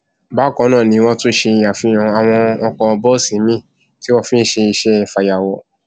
bákan náà ni wọn tún ṣàfihàn àwọn ọkọ bọọsì miín tí wọn fi ń ṣe iṣẹ fàyàwọ